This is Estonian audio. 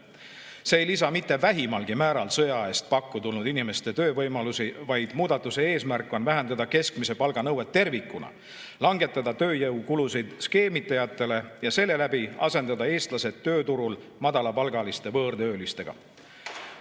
See ei lisa mitte vähimalgi määral sõja eest pakku tulnud inimestele töövõimalusi, vaid muudatuse eesmärk on vähendada keskmise palga nõuet tervikuna, langetada skeemitajatele tööjõukulusid ja selle läbi asendada eestlased tööturul madalapalgaliste võõrtöölistega.